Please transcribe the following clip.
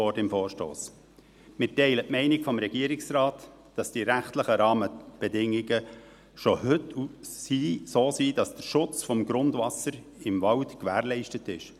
Wir teilen die Meinung des Regierungsrates, dass die rechtlichen Rahmenbedingungen schon heute so sind, dass der Schutz des Grundwassers im Wald gewährleistet ist.